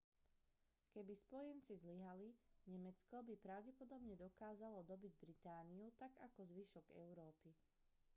keby spojenci zlyhali nemecko by pravdepodobne dokázalo dobyť britániu tak ako zvyšok európy